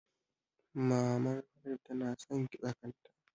Maman Haladu tana san kitsa kanta